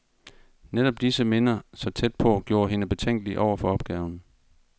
Netop disse minder, så tæt på, gjorde hende betænkelig over for opgaven.